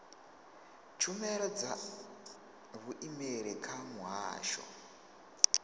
tshumelo dza vhuimeli kha muhasho